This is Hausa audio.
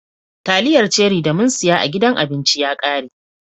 Taliyar ceri da mun siya a gidan abinci ya rage.